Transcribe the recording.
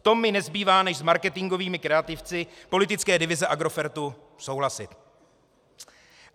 V tom mi nezbývá, než s marketingovými kreativci politické divize Agrofertu souhlasit.